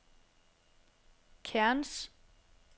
Cairns